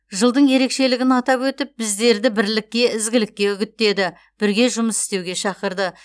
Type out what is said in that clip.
жылдың ерекшелігін атап өтіп біздерді бірлікке ізгілікке үгіттеді бірге жұмыс істеуге шақырды